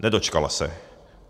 Nedočkala se.